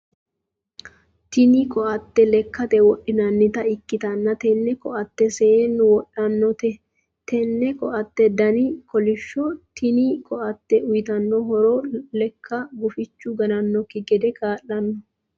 Tinni koate lekate wodhinnannita ikitanno tenne koate seenu wodhanote. Tenne koate danni kolishoho. Tinni koate uyitano horo leka gufichu gannanoki gede kaa'lano.